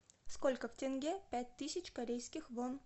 сколько в тенге пять тысяч корейских вон